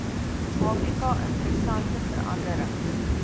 afrika interessante veranderings